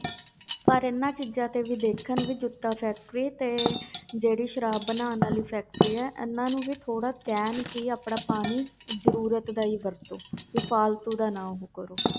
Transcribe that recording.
ਪਰ ਇਹਨਾਂ ਚੀਜ਼ਾਂ ਤੇ ਵੀ ਦੇਖਣ ਵੀ ਜੁੱਤਾ factory ਤੇ ਜਿਹੜੀ ਸਰਾਬ ਬਣਾਉਣ ਵਾਲੀ factory ਹੈ ਇਹਨਾਂ ਨੂੰ ਥੋੜ੍ਹਾ ਕਹਿਣ ਕਿ ਆਪਣਾ ਪਾਣੀ ਜ਼ਰੂਰਤ ਦਾ ਹੀ ਵਰਤੋ ਵੀ ਫਾਲਤੂ ਦਾ ਨਾ ਉਹ ਕਰੋ।